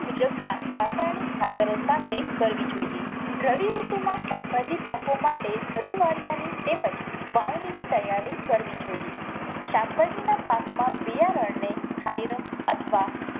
મુજબ ના રાસાયણિક ખાતરો સાથે કરવી જોઈએ. રવિ ઋતુ માં શાકભાજી પાકો માટે ધરું વાળ્યાની તેમ જ વાવણી ની તૈયારી કરવી જોઈએ. શાકભાજી ના પાક માં બિયારણ ને થાયરમ અથવા